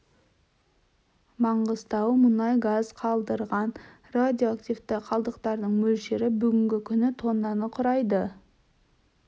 маңғыстау мұнай газ қалдырған радиоактивті қалдықтың мөлшері бүгінгі күні тоннаны құрайды